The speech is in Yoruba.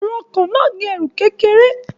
Èrò ọkọ̀ náà ní ẹrù kékeré